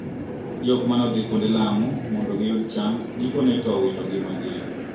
Jokmanodhii kuonde lamo mondo giyud chang, gikone to owito ngimagi.